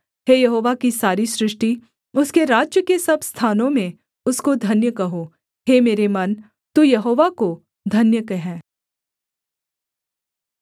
हे यहोवा की सारी सृष्टि उसके राज्य के सब स्थानों में उसको धन्य कहो हे मेरे मन तू यहोवा को धन्य कह